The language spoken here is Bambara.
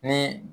Ni